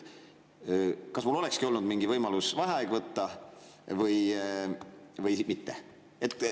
Kas mul olekski olnud mingi võimalus vaheaeg võtta või mitte?